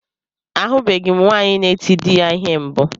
Ahụbeghi m nwaanyị na-eti dị ya ihe mbụ.